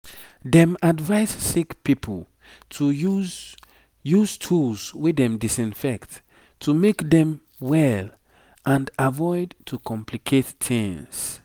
dem advise sick pipo to use use tools wey dem disinfect to make dem well and avoid to complicate tings